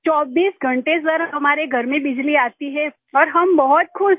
24 घंटे सर हमारे घर में बिजली आती है और हम बहुत खुश हैं